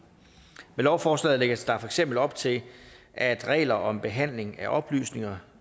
lovforslaget lægges der for eksempel op til at regler om behandling af oplysninger